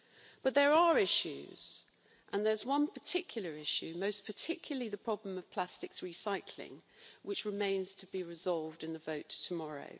But there are issues, and there is one particular issue the problem of plastics recycling which remains to be resolved in the vote tomorrow.